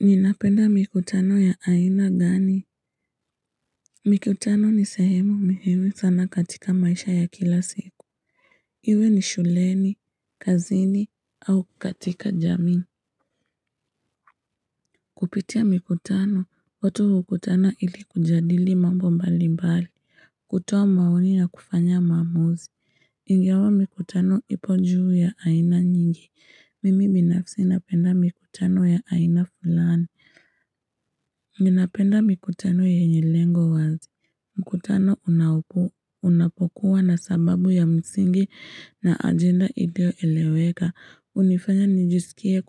Ninapenda mikutano ya aina gani? Mikutano ni sehemu muhimu sana katika maisha ya kila siku. Iwe ni shuleni, kazini, au katika jamii. Kupitia mikutano, watu hukutana ili kujadili mambo mbali mbali. Kutoa maoni na kufanya maamuzi. Ingawa mikutano ipo juu ya aina nyingi. Mimi binafsi napenda mikutano ya aina fulani. Ninapenda mikutano yenye lengo wazi. Mkutano unapokuwa na sababu ya msingi na ajenda ilioeleweka. Hunifanya nijisikie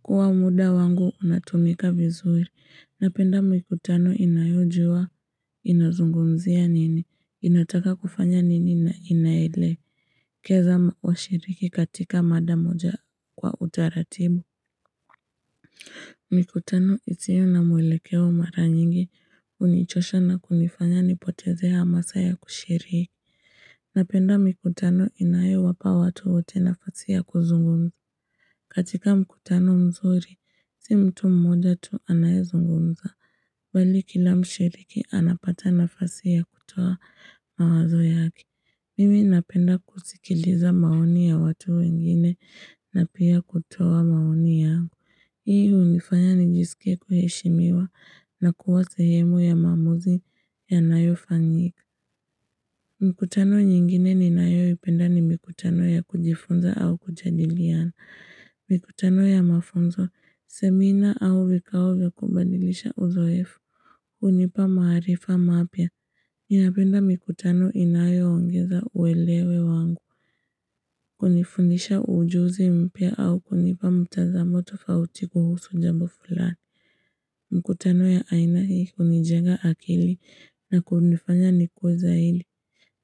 kuwa muda wangu unatumika vizuri. Napenda mikutano inayojua, inazungumzia nini, inataka kufanya nini na inaelekeza washiriki katika mada moja kwa utaratibu. Mkutano isiyo na mwelekeo mara nyingi hunichosha na kunifanya nipoteze masaa ya kushiriki. Napenda mikutano inayowapa watu wote nafasi ya kuzungumza. Katika mkutano mzuri, si mtu mmoja tu anayezungumza. Bali kila mshiriki anapata nafasi ya kutoa mawazo yake. Mimi napenda kusikiliza maoni ya watu wengine na pia kutoa maoni yangu. Hii hunifanya nijisikie kuheshimiwa na kuwa sehemu ya maamuzi yanayofanyika. Mkutano nyingine ninayoipenda ni mikutano ya kujifunza au kujadiliana. Mikutano ya mafunzo, semina au vikao vya kubadilisha uzoefu. Hunipa maarifa mapya. Ninapenda mikutano inayoongeza uelewa wangu. Hunifundisha ujuzi mpya au kunipa mtazamo tofauti kuhusu jambo fulani. Mkutano ya aina hii hunijenga akili na kunifanya nikue zaidi.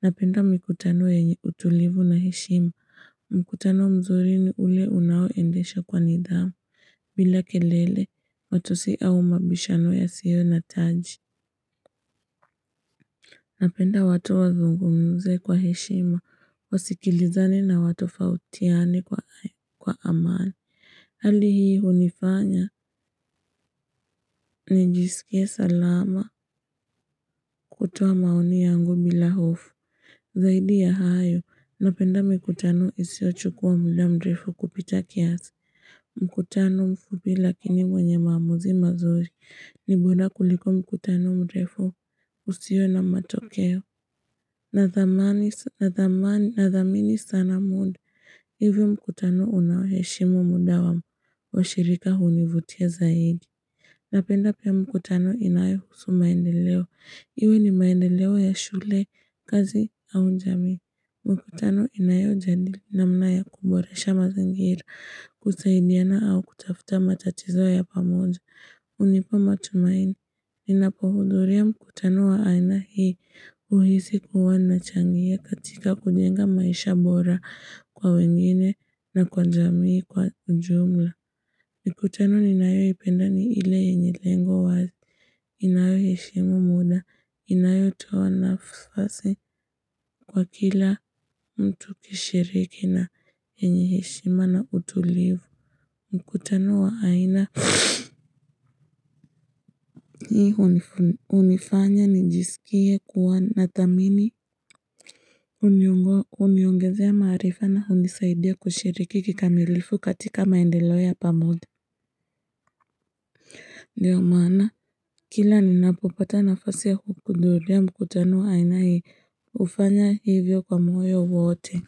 Napenda mikutano yenye utulivu na heshima. Mkutano mzuri ni ule unaoendesha kwa nidhamu. Bila kelele, matusi au mabishano yasiyo na taji. Napenda watu wazungumze kwa heshima. Wasikilizane na watofautiani kwa amani. Hali hii hunifanya nijisikie salama kutoa maoni yangu bila hofu. Zaidi ya hayo napenda mikutano isiyochukua muda mrefu kupita kiasi. Mkutano mfupi lakini mwenye maamuzi mazuri ni bora kuliko mkutano mrefu usio na matokeo. Nathamini sana muda hivyo mkutano unaoheshimu muda wa washirika hunivutia zaidi. Napenda pia mkutano inayohusu maendeleo. Iwe ni maendeleo ya shule, kazi au jamii. Mkutano inayojadili namna ya kuboresha mazingira, kusaidiana au kutafuta matatizo ya pamoja. Hunipa matumaini, ninapohudhuria mkutano wa aina hii huhisi kuwa nachangia katika kujenga maisha bora kwa wengine na kwa jamii kwa jumla. Mikutano ninayoipenda ni ile yenye lengo wazi, inayoheshimu muda, inayotoa nafasi kwa kila mtu kushiriki na yenye heshima na utulivu, mkutano wa aina. Hii hunifanya nijisikie kuwa na thamini huniongezea maarifa na hunisaidia kushiriki kikamilifu katika maendeleo ya pamoja Ndio maana kila ninapopata nafasi ya kuhudhuria mkutano wa aina hii hufanya hivyo kwa moyo wote.